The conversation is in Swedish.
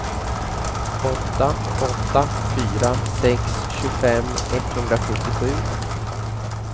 åtta åtta fyra sex tjugofem etthundrasjuttiosju